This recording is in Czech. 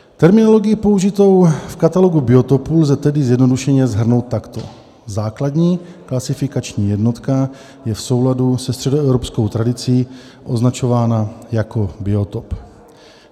"Terminologii použitou v katalogu biotopů lze tedy zjednodušeně shrnout takto: Základní klasifikační jednotka je v souladu se středoevropskou tradicí označována jako biotop.